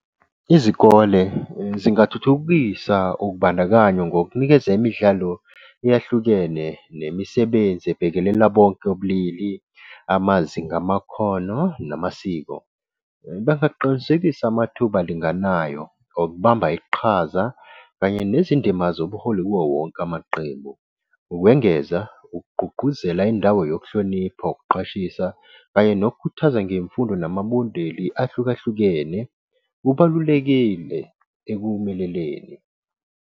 Izikole zingathuthukisa ukubandakanyo ngokunikeza imidlalo eyahlukene nemisebenzi ebhekelela bonke ubulili, amazinga amakhono namasiko. Bangaqinisekisa amathuba alinganayo okubamba iqhaza kanye nezindima zobuholi kuwo wonke amaqembu. Ukwengeza, ukugqugquzela indawo yokuhlonipha, ukuqashisa kanye nokukhuthaza ngemfundo namabondeli ahlukahlukene, kubalulekile ekuphumeleleni.